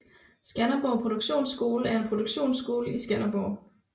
Skanderborg Produktionsskole er en produktionsskole i Skanderborg